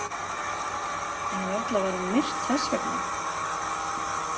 En varla var hún myrt þess vegna.